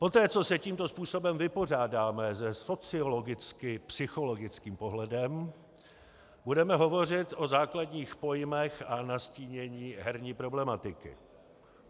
Poté co se tímto způsobem vypořádáme se sociologicko-psychologickým pohledem, budeme hovořit o základních pojmech a nastínění herní problematiky.